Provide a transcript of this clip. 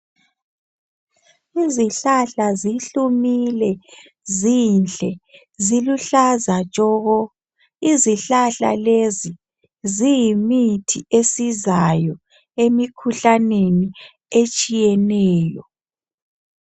izihlahla zihlumile zinhle ziluhlaza tshoko izihlahla lezi ziyimithi esizayo emikhuhlaneni etshiyeneyo